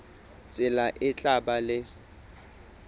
tsela e tla ba le